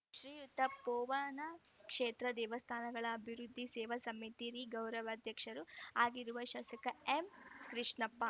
ಶ್ರೀತಪೋವನಕ್ಷೇತ್ರ ದೇವಸ್ಥಾನಗಳ ಅಭಿವೃದ್ಧಿ ಸೇವಾ ಸಮಿತಿಯ ರಿ ಗೌರವಾಧ್ಯಕ್ಷರು ಆಗಿರುವ ಶಾಸಕ ಎಂಕೃಷ್ಣಪ್ಪ